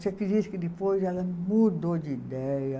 Você acredita que depois ela mudou de ideia.